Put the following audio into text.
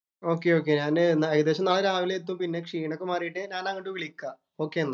Okay, okay ഞാന് ഏകദേശം നാളെ രാവിലെ എത്തും. പിന്നെ ക്ഷീണം ഒക്കെ മാറീട്ട് ഞാന്‍ എന്നാ അങ്ങോട്ട്‌ വിളിക്കാം, ഓകെ എന്നാ.